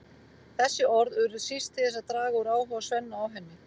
Þessi orð urðu síst til þess að draga úr áhuga Svenna á henni.